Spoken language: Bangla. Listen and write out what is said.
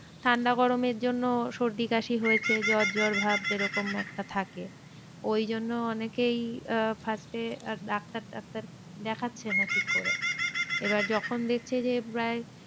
ঠান্ডা গরমের জন্য সর্দি কাশি হয়েছে জ্বর জ্বর ভাব যেরকম একটা থাকে। ওই জন্য অনেকেই আহ first এ ডাক্তার টাক্তার দেখাচ্ছে না ঠিক করে। এবার যখন দেখছে যে প্রায়